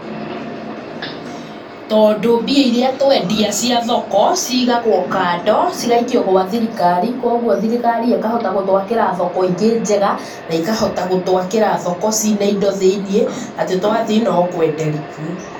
Tondũ mbia irĩa twendia cia thoko cigagwo kando cigaikio gwa thirikari, kwoguo thirikari ĩkahota gũtwakĩra thoko ingĩ njega na ikahota gũtwakĩra thoko ciĩ na indo thĩiniĩ , atĩ twathiĩ no kwenderia kuo.